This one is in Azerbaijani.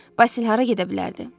Basil hara gedə bilərdi?